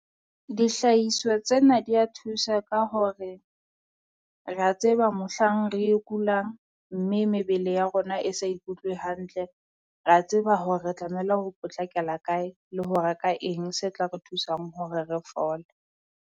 Dihlahiswa tsena dia thusa ka hore rea tseba mohlang re e kulang mme mebele ya rona e sa ikutlwe hantle. Rea tseba hore re tlamehile ho potlakela kae le ho reka eng se tla re thusang hore re fole.